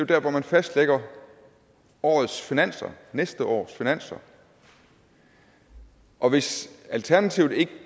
der hvor man fastlægger årets finanser næste års finanser og hvis alternativet ikke